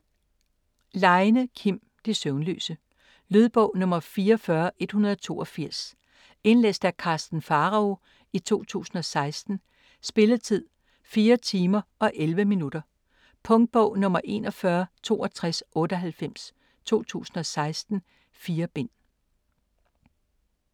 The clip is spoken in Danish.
Leine, Kim: De søvnløse Lydbog 44182 Indlæst af Karsten Pharao, 2016. Spilletid: 4 timer, 11 minutter. Punktbog 416298 2016. 4 bind.